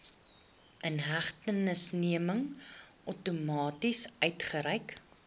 inhegtenisneming outomaties uitgereik